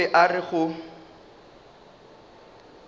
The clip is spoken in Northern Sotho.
o be a re go